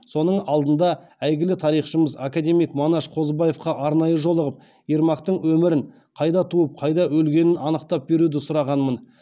соның алдында әйгілі тарихшымыз академик манаш қозыбаевқа арнайы жолығып ермактың өмірін қайда туып қайда өлгенін анықтап беруді сұрағанмын